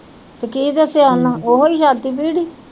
ਤੇ ਕੀ ਦਸਿਆ ਉਹ ਨੂੰ ਓਹੀ ਛਾਤੀ ਭੀੜ ਈ।